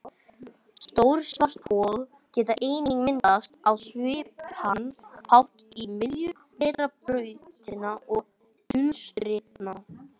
Stór svarthol geta einnig myndast á svipaðan hátt í miðjum vetrarbrauta og dulstirna.